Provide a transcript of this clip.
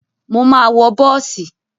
Mo máa wọ bọ́ọ̀sì.